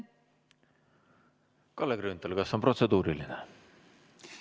Kalle Grünthal, kas on protseduuriline küsimus?